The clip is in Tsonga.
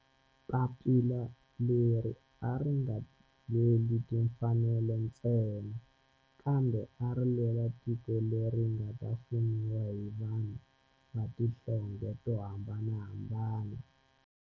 Papila leri a ri nga lweli timfanelo ntsena kambe ari lwela tiko leri nga ta fumiwa hi vanhu va tihlonge to hambanahambana.